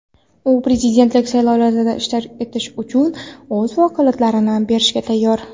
u prezidentlik saylovlarida ishtirok etish uchun o‘z vakolatlarini berishga tayyor.